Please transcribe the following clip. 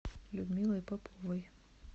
людмилой поповой